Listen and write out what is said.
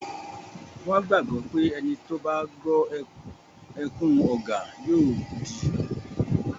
Wọ́n gbàgbọ́ pé etí tó bá gbọ́ ẹkún ọ̀gà yóò di